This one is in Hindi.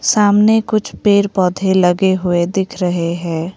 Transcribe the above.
सामने कुछ पेड़ पौधे लगे हुए दिख रहे हैं।